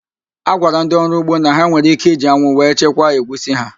A gwara ndị ọrụ ugbo na ha nwere íké iji anwụ wee chekwaa egwusi ha